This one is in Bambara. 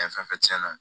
Ɛ fɛn fɛn tiɲɛna